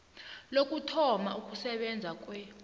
lokuthoma ukusebenza kwe